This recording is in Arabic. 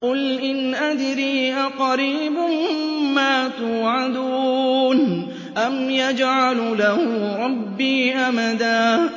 قُلْ إِنْ أَدْرِي أَقَرِيبٌ مَّا تُوعَدُونَ أَمْ يَجْعَلُ لَهُ رَبِّي أَمَدًا